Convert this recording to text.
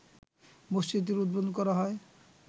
মসজিদটির উদ্বোধন করা হয়